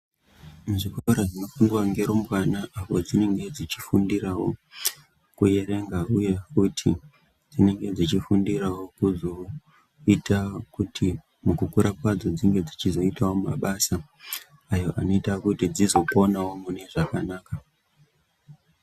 Zvikora zvepadera-dera ngerumbwana apo dzinenge dzichifundirawo kuerenga uye futi dzinenge dzichifundirawo kuzoita kuti mukukura kwavo dzinge dzeiitawo mabasa ayo anoita kuti dzizoponawo mune zvakanaka.